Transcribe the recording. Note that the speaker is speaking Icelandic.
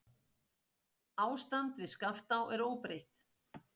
Ástand við Skaftá er óbreytt.